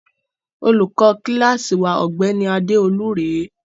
Olùkọ kíláásì wa, ọ̀gbẹ́ni Adéolú rèé.